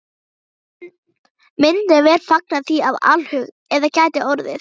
Myndum vér fagna því af alhug, ef það gæti orðið.